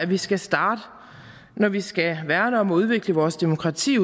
vi skal starte når vi skal værne om og udvikle vores demokrati